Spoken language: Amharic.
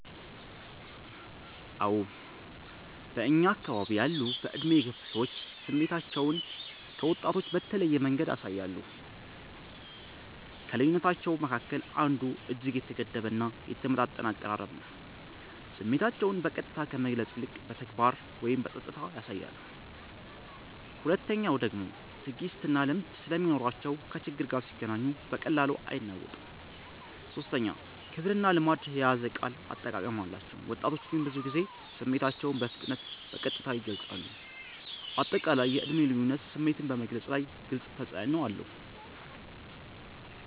አዎ በእኛ አከባቢ ያሉ በዕድሜ የገፉ ሰዎች ስሜታቸውን ከወጣቶች በተለየ መንገድ ያሳያሉ። ከልዩነታቸዉ መካከል አንዱ እጅግ የተገደበ እና የተመጣጠነ አቀራረብ ነው፤ ስሜታቸውን በቀጥታ ከመግለጽ ይልቅ በተግባር ወይም በጸጥታ ያሳያሉ። ሁለተኛዉ ደግሞ ትዕግስትና ልምድ ስለሚኖራቸው ከችግር ጋር ሲገናኙ በቀላሉ አይናወጡም። ሶስተኛ ክብርና ልማድ የያዘ የቃል አጠቃቀም አላቸው፤ ወጣቶች ግን ብዙ ጊዜ ስሜታቸውን በፍጥነትና በቀጥታ ይገልጻሉ። አጠቃላይ የዕድሜ ልዩነት ስሜትን በመግለፅ ላይ ግልጽ ተፅዕኖ አለው።